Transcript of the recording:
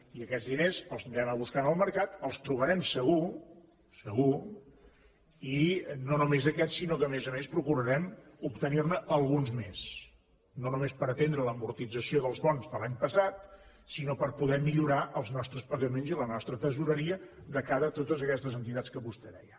i aquests diners els hem d’anar a buscar en el mercat els trobarem segur segur i no només aquests sinó que a més a més procurarem obtenir ne alguns més no només per a atendre l’amortització dels bons de l’any passat sinó per a poder millorar els nostres pagaments i la nostra tresoreria de cara a totes aquestes entitats que vostè deia